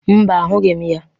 Mba, ahụghị m ya.